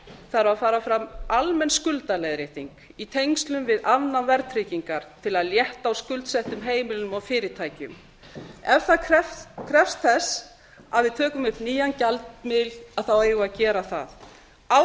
þarf að fara fram almenn skuldaleiðrétting í tengslum við afnám verðtryggingar til að létta á skuldsettum heimilum og fyrirtækjum ef það krefst þess að við tökum upp nýjan gjaldmiðil eigum við að gera það án skuldaleiðréttingar